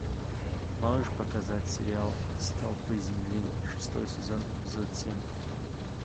можешь показать сериал столпы земли шестой сезон эпизод семь